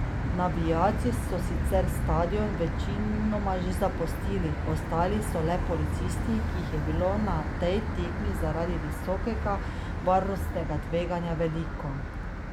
Navijači so sicer stadion večinoma že zapustili, ostali so le policisti, ki jih je bilo na tej tekmi zaradi visokega varnostnega tveganja veliko.